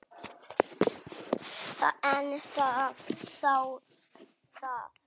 En þá það.